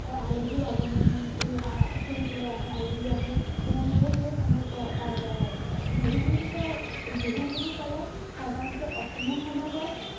আলহিৰ আগমন হয় এই আহ ফুৰিবলে আহে আলহি আহে তেনেকে সেই সময়তো পাৰ কৰা হয় বিহু বুলি কয় বিহু বুলি কলে সাধাৰণতে অসমীয়া সমাজত